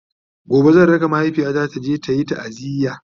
gobe zan raka mahaifiyata taje tayi taaziya